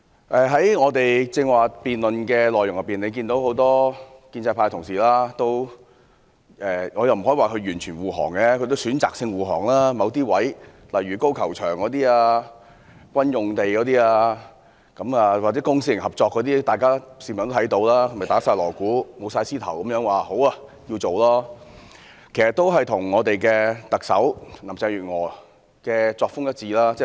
在剛才議員的辯論中，大家可以看到，很多建制派同事——我不可以說他們完全護航——他們是選擇性護航，就某些選項，例如高爾夫球場、軍事用地或公私營合作等，大鑼大鼓、舞獅頭地說好，要予以處理，但其實他們與特首林鄭月娥的作風一致。